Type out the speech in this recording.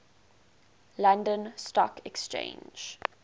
london stock exchange